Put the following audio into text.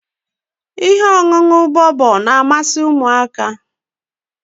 umuntakiri bobo